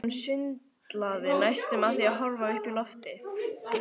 Hann sundlaði næstum af því að horfa upp í loftið.